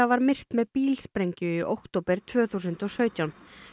var myrt með bílsprengju í október tvö þúsund og sautján